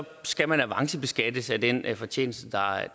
skal man avancebeskattes af den fortjeneste